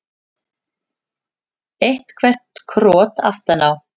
Eitthvert krot aftan á.